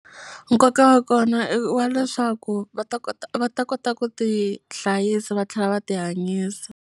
Nkoka wa kona i wa leswaku va ta kota va ta kota ku ti hlayisa va tlhela va ti hanyisa.